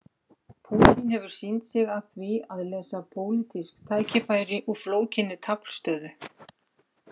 Pútín hefur sýnt sig að því að lesa pólitísk tækifæri úr flókinni taflstöðu.